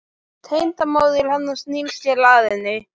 Tengdamóðir hennar snýr sér að henni.